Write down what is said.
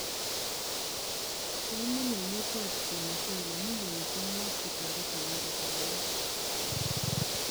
kainem emetap venezuala millionisiek muut kotaret america en